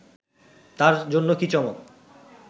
তার জন্য কী চমক